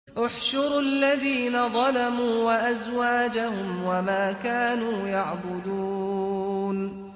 ۞ احْشُرُوا الَّذِينَ ظَلَمُوا وَأَزْوَاجَهُمْ وَمَا كَانُوا يَعْبُدُونَ